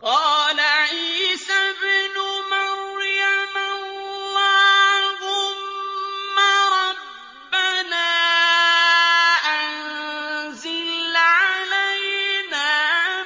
قَالَ عِيسَى ابْنُ مَرْيَمَ اللَّهُمَّ رَبَّنَا أَنزِلْ عَلَيْنَا